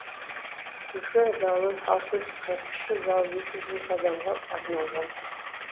үлкен залы алты жүз қырық кіші залы екі жүз екі адамға арналған